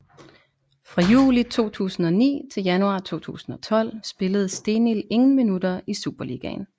Fra juli 2009 til januar 2012 spillede Stenild ingen minutter i Superligaen